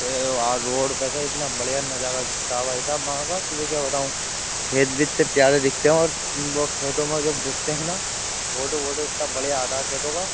तो ये यार रोड पे से इतना बढियां नजारा दिखता है भाई साहब वहां का तुझे क्या बताऊँ खेत भी इतने प्यारे दिखते हैं और वो खेतों में जब घुसते है ना फोटो वोटो इतना बढियां आता है खेतों का --